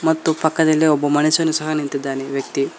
ಮತ್ತು ಪಕ್ಕದಲ್ಲಿ ಒಬ್ಬ ಮನುಷ್ಯನು ಸಹ ನಿಂತಿದ್ದಾನೆ ವ್ಯಕ್ತಿ.